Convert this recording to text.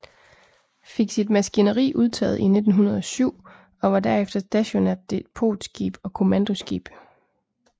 Fik sit maskineri udtaget i 1907 og var derefter stationært depotskib og kommandoskib